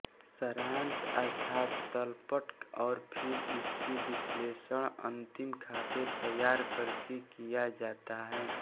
सारांश अर्थात तलपट और फिर इसके विश्लेषण अन्तिम खाते तैयार करके किया जाता है